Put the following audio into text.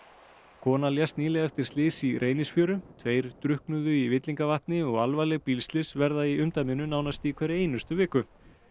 kona lést nýlega eftir slys í Reynisfjöru tveir drukknuðu í Villingavatni og alvarleg bílslys verða í umdæminu nánast í hverri viku